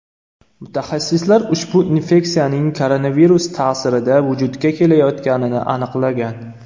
Mutaxassislar ushbu infeksiyaning koronavirus ta’sirida vujudga kelayotganini aniqlagan.